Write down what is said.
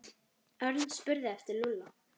Örn spurði eftir Lúlla.